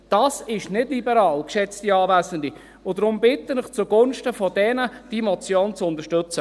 Das ist nicht liberal, geschätzte Anwesende, deshalb bitte ich Sie, die Motion zugunsten dieser Kleinbetriebe zu unterstützen.